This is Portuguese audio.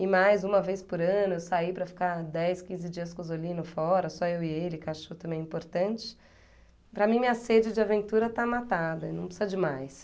e mais uma vez por ano eu sair para ficar dez, quinze dias com o Zolino fora, só eu e ele, que eu acho também é importante, para mim minha sede de aventura está matada, e não precisa de mais.